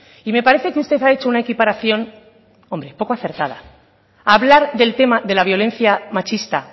y me parece que usted ha hecho una equiparación hombre poco acertada hablar del tema de la violencia machista